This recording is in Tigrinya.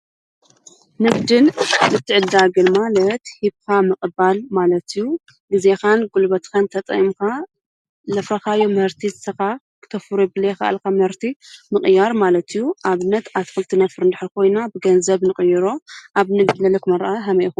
ንግድን ምትዕድዳግን ማለት ሂብኻ ምቕባል ማለት እዩ። ጊዜኻን ጕልበትካን ተጠቅምካ ለፍረኻዮ ምሕርቲ ንሰኻ ክተፉርዮ ዘይከኣልካ ምህርቲ ምቕያር ማለት እዩ። ኣብነት ኣትክልቲ ነፍር እንድሕር ኾይና ብገንዘብ ንቕይሮ ኣብ ንግዲ ዘለኩም ኣራኣእያ ከመይ ኢኩም?